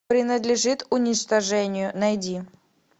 принадлежит уничтожению найди